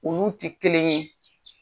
Olu ti kelen ye.